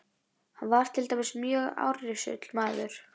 Hann var til dæmis mjög árrisull maður.